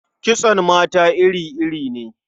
Kitson mata iri-iri ne.